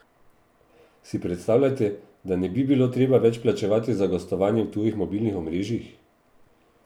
Si predstavljate, da ne bi bilo treba več plačevati za gostovanje v tujih mobilnih omrežjih?